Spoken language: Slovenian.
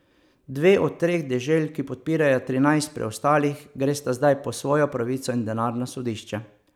Dve od treh dežel, ki podpirajo trinajst preostalih, gresta zdaj po svojo pravico in denar na sodišče.